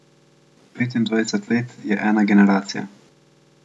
Petindvajset let je ena generacija.